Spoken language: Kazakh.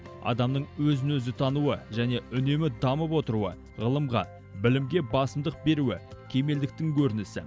адамның өзін өзі тануы және үнемі дамып отыруы ғылымға білімге басымдық беруі кемелдіктің көрінісі